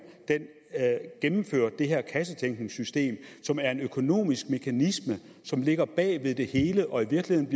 indførte det her kassetænkningssystem som er en økonomisk mekanisme som ligger bag ved det hele og i virkeligheden